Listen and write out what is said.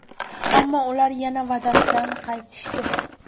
Ammo ular yana va’dasidan qaytishdi.